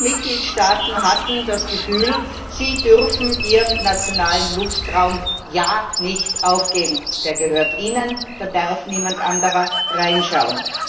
Manche Mitgliedstaaten hatten das Gefühl, sie dürften ihren nationalen Luftraum auf keinen Fall aufgeben, der gehört ihnen, da darf niemand anderer reinschauen.